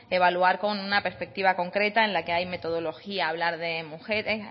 evaluar con una perspectiva concreta en la que hay metodología hablar de mujeres